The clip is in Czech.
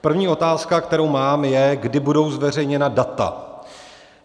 První otázka, kterou mám, je: Kdy budou zveřejněna data?